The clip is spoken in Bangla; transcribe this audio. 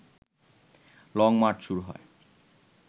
লংমার্চ শুরু হয়